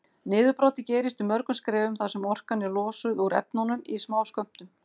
Niðurbrotið gerist í mörgum skrefum þar sem orkan er losuð úr efnunum í smáskömmtum.